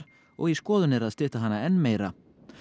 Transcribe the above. og í skoðun er að stytta hana enn meira